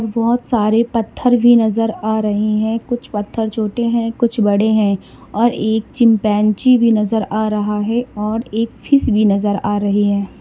बहोत सारे पत्थर भी नजर आ रहे हैं कुछ पत्थर छोटे हैं कुछ बड़े हैं और एक चिंपांजी भी नजर आ रहा है और एक फीस भी नजर आ रही है।